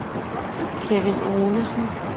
Kevin Olesen